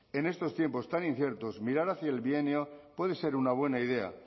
en estos tiempos tan inciertos mirar hacia el bienio puede ser una buena idea